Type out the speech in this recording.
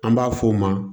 An b'a f'o ma